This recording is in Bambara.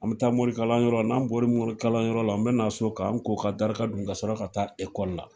An mi taa morikalan yɔrɔ la, n'an bɔri morikalan yɔrɔ la, n bɛna so, k'an ko ka daraka dun ka sɔrɔ ka taa ekɔli la